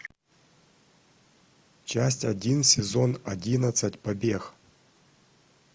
часть один сезон одиннадцать побег